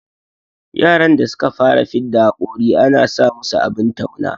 Yaran da suka fara fidda hakori ana sa musu abin tauna